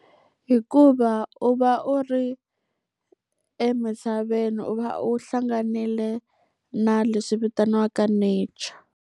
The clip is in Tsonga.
Hikuva u va u ri emisaveni, u va u hlanganile na leswi vitaniwaka nature.